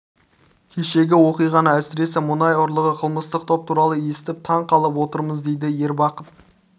кешегі оқиғаны әсіресе мұнай ұрлығы қылмыстық топ туралы естіп таң қалып отырмыз дейді ер бақыт